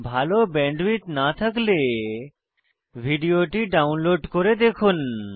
ভাল ব্যান্ডউইডথ না থাকলে ভিডিওটি ডাউনলোড করে দেখুন